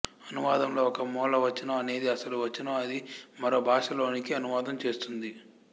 అనువాదంలో ఒక మూల వచనం అనేది అసలు వచనం అది మరొక భాష లోనికి అనువాదం చేస్తుంది